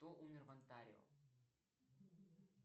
кто умер в онтарио